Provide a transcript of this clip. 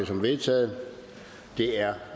som vedtaget det er